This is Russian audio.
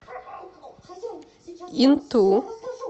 инту